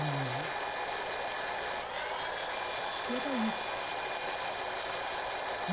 E e era isto.